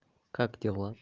как дела